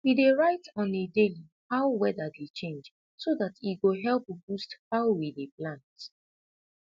we dey write on a daliy how weda dey change so dat e go help boost how we dey plant